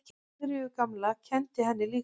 Sigríður gamla kenndi henni líka.